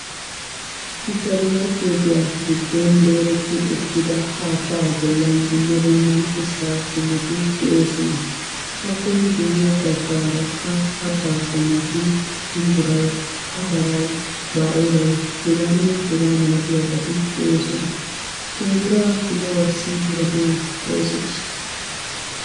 Suppermarketiya giddon dorerti uttida haattaa bollan dumma dumma ushsha qommoti de'oosona. Appe guyye bagaarakka kattaa qommoti shumbbaray, atary, baa'elay heganne hegaa malatiyaabati de'oosona. Shumbbura kiluwassi gatee woysseshsha?